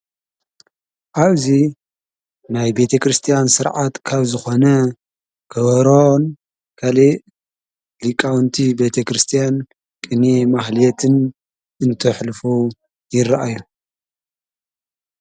ዓውዙ ናይ ቤተ ክርስቲያን ሥርዓት ካብ ዝኾነ ክወሮን ካል ሊቃውንቲ ቤተ ክርስቲያን ቅንእየ ማሕልአትን እንተሕልፉ ይረአየ።